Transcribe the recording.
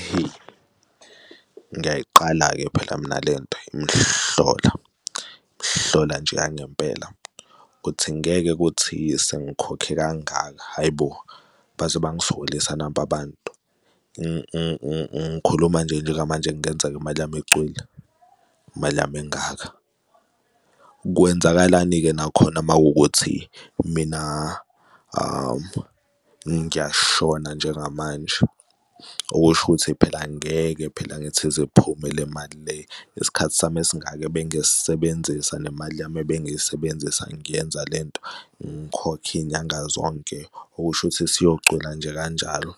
Ihe, ngiyayiqala-ke phela mina lento imihlola, mhlola nje yangempela ukuthi ngeke kuthi sengikhokhe kangaka. Hhayi bo baze bangisokolisa naba abantu. Ngikhuluma nje njengamanje kungenzeka imali yami icwile imali yami engaka. Kwenzakalani-ke nakhona uma kuwukuthi mina ngiyashona njengamanje? Okusho ukuthi phela angeke phela ngithi ize iphume le mali le, isikhathi sami esingaka ebengisisebenzisa nemali yami ebengiyisebenzisa, ngiyenza le nto, ngikhokhe iy'nyanga zonke okusho ukuthi isiyocwila nje kanjalo.